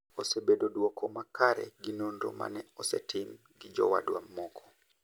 obedo duoko makare gi nonro mane osetim gi jowadwa moko.